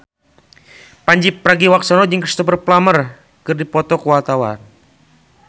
Pandji Pragiwaksono jeung Cristhoper Plumer keur dipoto ku wartawan